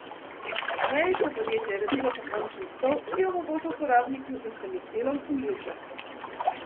Ameriško podjetje je razvilo pokončen stol, ki omogoča uporabniku, da se med delom uleže.